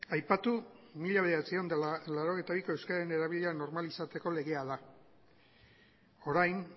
aipatu mila bederatziehun eta laurogeita biko euskararen erabilera normalizatzeko legea da orain